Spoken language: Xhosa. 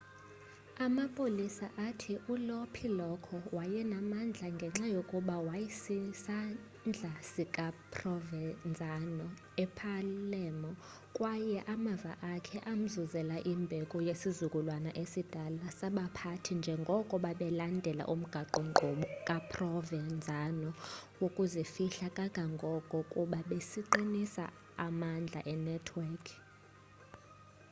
amapolisa athi ulo piccolo wayenamandla ngenxa yokuba waysisandla sika provenzano epalermo kwaye amava akhe amzuzela imbeko yesizukulwana esidala sabaphathi njengoko babelandela umgaqo-nkqubo kaprovenzano wokuzifihla kangangoko kuba besaqinisa amandla enetwekhi